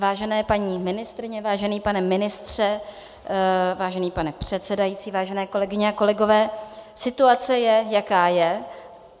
Vážené paní ministryně, vážený pane ministře, vážený pane předsedající, vážené kolegyně a kolegové, situace je, jaká je.